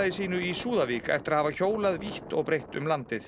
sínu í Súðavík eftir að hafa hjólað vítt og breitt um landið